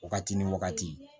Wagati ni wagati